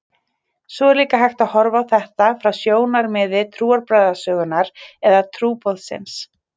Svo er líka hægt að horfa á þetta frá sjónarmiði trúarbragðasögunnar eða trúboðsins.